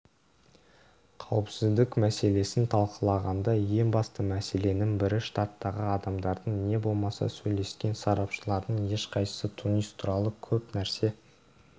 қауіпсіздік мәселесін талқылағанда ең басты мәселенің бірі штаттағы адамдардың не болмаса сөйлескен сарапшылардың ешқайсысы тунис туралы көп нәрсе